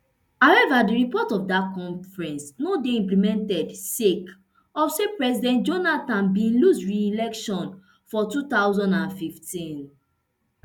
however di report of dat conference no dey implemented sake of say president jonathan bin lose reelection for two thousand and fifteen